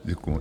Děkuju.